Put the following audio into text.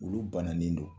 Olu bananen don